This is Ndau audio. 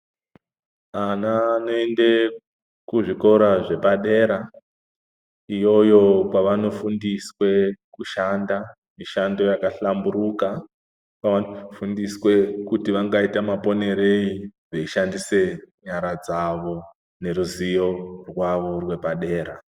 Ana anoende kuzvikora zvepadera iyoyo kwavanofundiswe kushanda mishando yakahlamburuka kwavanofundiswe kuti vangaite maponerei veishandisa nyara dzavo neruzivo rwavo rwepadera.